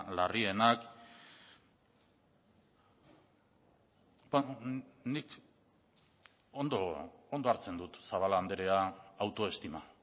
larrienak nik ondo hartzen dut zabala andrea autoestima